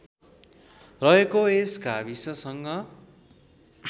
रहेको यस गाविससँग